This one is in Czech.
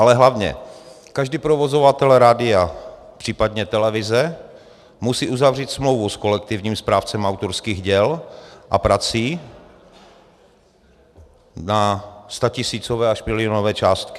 Ale hlavně každý provozovatel rádia, případně televize, musí uzavřít smlouvu s kolektivním správcem autorských děl a prací na statisícové až milionové částky.